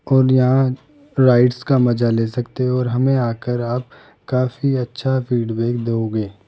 और यहां राइट्स का मजा ले सकते हो और हमें आकर आप काफी अच्छा फीडबैक दोगे।